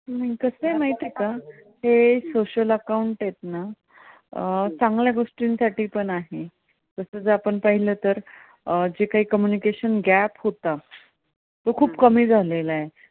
हे social account आहेत ना चांगल्या गोष्टीसाठी पण आहेत. जस आपण पाहिले तर जे कांही communication gap होता, तो खूप कमी झालेला आहे. .